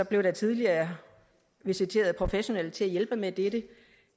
blev der tidligere visiteret professionelle til at hjælpe med dette